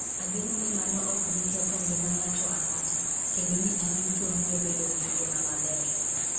Ageno ni mano ok bi ketho ngima ng'ato ang'ata kendo ni ji duto biro bedo gi ngima maber.